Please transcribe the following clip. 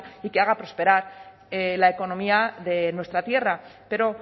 y que haga prosperar la economía de nuestra tierra pero